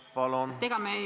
Palun!